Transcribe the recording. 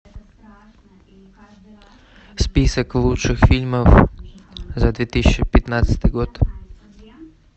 список лучших фильмов за две тысячи пятнадцатый год